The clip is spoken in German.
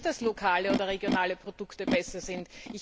Ich sage nicht, dass lokale oder regionale Produkte besser sind.